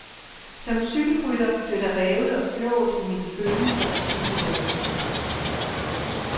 Som cykelrytter bliver der revet og flået i mine følelser i disse dage.